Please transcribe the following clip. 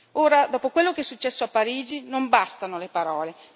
Ora, dopo quello che è successo a Parigi, non bastano le parole.